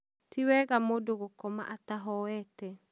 tiwega mũndũ gũkoma atahoete.